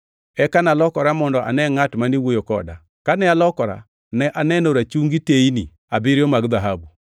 Eka nalokora mondo ane ngʼat mane wuoyo koda. Kane alokora ne aneno rachungi teyni abiriyo mag dhahabu,